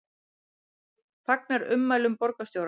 Fagnar ummælum borgarstjóra